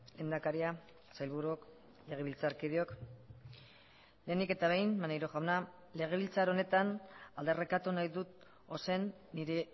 lehendakaria sailburuok legebiltzarkideok lehenik eta behin maneiro jauna legebiltzar honetan aldarrikatu nahi dut ozen nire